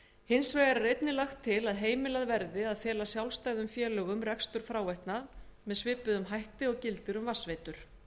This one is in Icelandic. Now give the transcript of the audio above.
hins vegar er einnig lagt til að heimilað verði að fela sjálfstæðum félögum rekstur fráveitna með svipuðum hætti og gildir um vatnsveitur